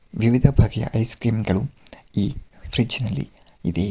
ವಿವಿಧ ಬಗೆಯ ಐಸ್ಕ್ರೀಮ್ ಗಳು ಈ ಫ್ರಿಡ್ಜ್ ನಲ್ಲಿ ಇದೆ.